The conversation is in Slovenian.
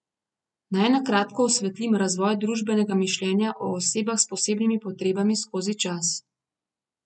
Naj na kratko osvetlim razvoj družbenega mišljenja o osebah s posebnimi potrebami skozi čas.